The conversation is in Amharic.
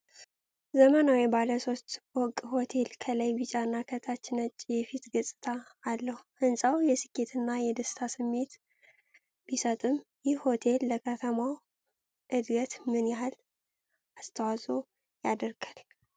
ዘመናዊው ባለ ሶስት ፎቅ ሆቴል ከላይ ቢጫና ከታች ነጭ የፊት ገፅታ አለው። ሕንፃው የሥኬትና የደስታ ስሜት ቢሰጥም፣ ይህ ሆቴል ለከተማው ዕድገት ምን ያህል አስተዋጽኦ ያደርጋል?